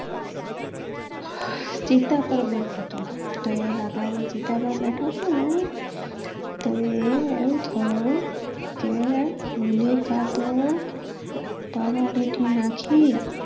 ચિતા પર બેઠોતો તો લાકડા ની ચિતા પર બેઠો તોહ ને, તો એવું થયો કે હોલીકા તો. પરાળી થી નાખી